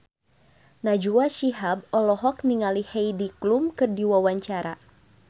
Najwa Shihab olohok ningali Heidi Klum keur diwawancara